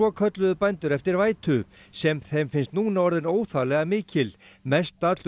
kölluðu bændur eftir vætu sem þeim finnst núna orðin óþarflega mikil mestallur